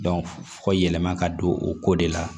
fɔ yɛlɛma ka don o ko de la